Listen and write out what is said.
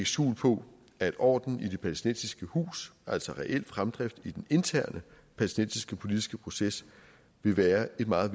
skjul på at orden i det palæstinensiske hus altså reel fremdrift i den interne palæstinensiske politiske proces vil være et meget